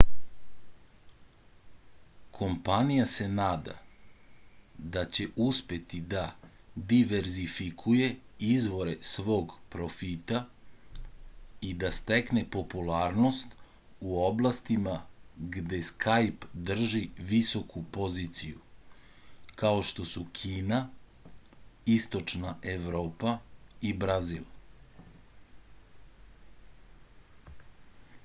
kompanija se nada da će uspeti da diverzifikuje izvore svog profita i da stekne popularnost u oblastima gde skajp drži visoku poziciju kao što su kina istočna evropa i brazil